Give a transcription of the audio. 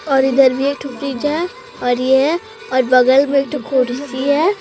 और इधर भी फ्रिज और यह और बगल कुर्सी है।